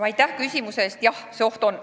Aitäh küsimuse eest!